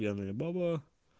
пьяная баба